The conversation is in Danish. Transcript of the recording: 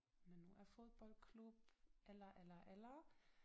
Men nu er fodboldklub eller eller eller